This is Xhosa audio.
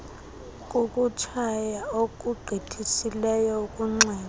kukutshaya okugqithisileyo ukunxila